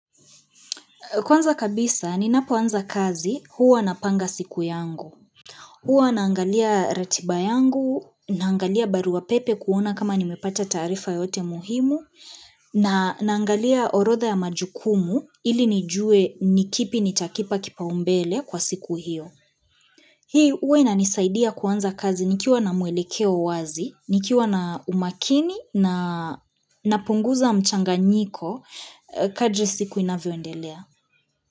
Kwanza kabisa, ninapoanza kazi huwa napanga siku yangu. Huwa naangalia ratiba yangu, naangalia barua pepe kuona kama nimepata taarifa yoyote muhimu, na naangalia orodha ya majukumu ili nijue nikipi nitakipa kipaumbele kwa siku hiyo. Hii huwa inanisaidia kuanza kazi nikiwa na mwelekeo wazi, nikiwa na umakini na napunguza mchanganyiko kadri siku inavyondelea.